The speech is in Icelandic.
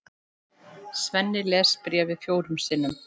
Svenni les bréfið fjórum sinnum.